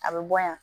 A bɛ bɔ yan